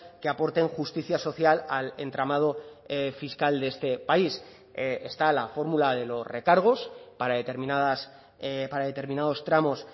que aporten justicia social al entramado fiscal de este país está la fórmula de los recargos para determinadas para determinados tramos